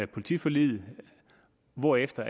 politiforliget hvorefter